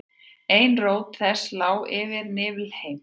ein rót þess lá yfir niflheimi